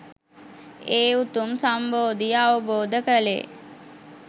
ඒ උතුම් සම්බෝධිය අවබෝධ කළේ.